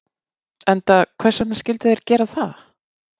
Enda hvers vegna skyldu þeir gera það?